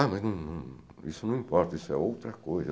Ah, mas não não, isso não importa, isso é outra coisa.